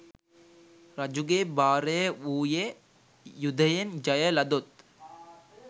රජුගේ බාරය වූයේ යුධයෙන් ජය ලදොත්,